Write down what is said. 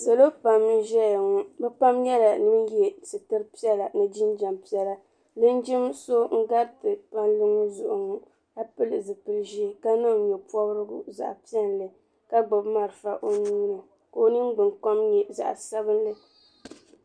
Salo pam n-ʒeya ŋɔ bɛ pam nyɛla ŋun ye sitiri piɛla ni jinjam piɛla linjin so n-gariti palli ŋɔ zuɣu ŋɔ ka pili zipili ʒee ka niŋ nye'pɔbirigu zaɣ'piɛlli ka gbubi marafa o nuu ni ka o ningbunkom nyɛ zaɣ'sabinli.